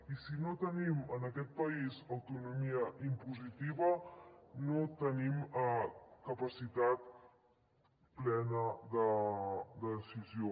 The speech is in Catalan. i si no tenim en aquest país autonomia impositiva no tenim capacitat plena de decisió